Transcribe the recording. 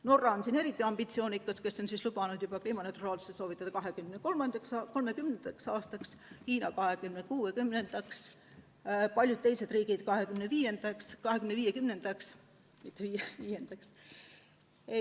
Norra on eriti ambitsioonikas, ta on lubanud kliimaneutraalsuse saavutada 2030. aastaks, Hiina 2060. aastaks ja paljud teised riigid 2050. aastaks.